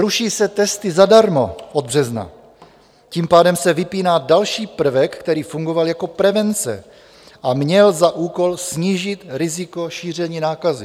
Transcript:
Ruší se testy zadarmo od března, tím pádem se vypíná další prvek, který fungoval jako prevence a měl za úkol snížit riziko šíření nákazy.